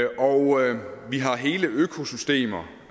og vi har hele økosystemer